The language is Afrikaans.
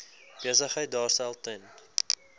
besigheid daarstel ten